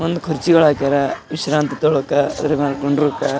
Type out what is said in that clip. ಒಂದ್ ಕುರ್ಚಿಗಳ್ ಹಾಕ್ಯಾರ ವಿಶ್ರಾಂತಿ ತಗೊಳ್ಳಕ ಅದ್ರ ಮುಂದೆ ಕುಂದ್ರಕ.